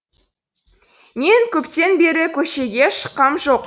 мен көптен бері көшеге шыққам жоқ